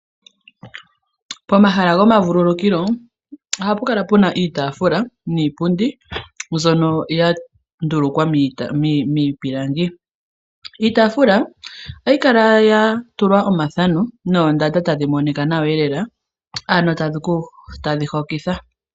Pomahala gomavululukilo ohapu kala puna iitaafula niipundi, mbyono ya ndulukwa miipilangi. Iitaafula ohayi kala ya tulwa omathano, noondanda tadhi monika nawa elela, ano tadhi hokitha.